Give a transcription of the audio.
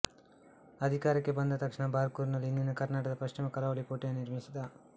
ಅಧಿಕಾರಕ್ಕೆ ಬಂದ ತಕ್ಷಣ ಬಾರ್ಕುರಿನಲ್ಲಿ ಇಂದಿನ ಕರ್ನಾಟಕದ ಪಶ್ಚಿಮ ಕರಾವಳಿ ಕೋಟೆಯನ್ನು ನಿರ್ಮಿಸಿದ